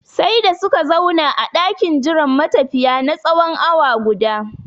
Sai da suka zauna a ɗakin jiran matafiya na tsawon awa guda